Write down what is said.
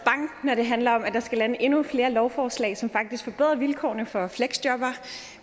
når det handler om at der skal lande endnu flere lovforslag som faktisk forbedrer vilkårene for fleksjobbere